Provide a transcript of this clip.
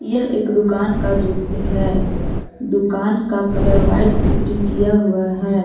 यह एक दुकान का दृश्य है दुकान का कलर व्हाइट पुट्टी किया हुआ है।